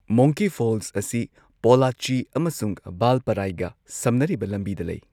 ꯃꯣꯡꯀꯤ Falls ꯑꯁꯤ ꯄꯣꯜꯂꯥꯆꯤ ꯑꯃꯁꯨꯡ ꯚꯜꯄꯥꯔꯥꯏꯒ ꯁꯝꯅꯔꯤꯕ ꯂꯝꯕꯤꯗ ꯂꯩ꯫